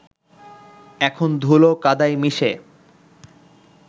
এখন ধুলো কাদায় মিশে